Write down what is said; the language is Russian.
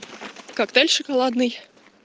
коктейль шоколадный